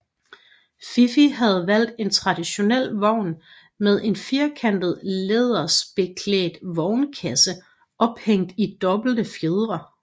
Fife havde valgt en traditionel vogn med en firkantet lærredsbekædt vognkasse ophængt i dobbelte fjedre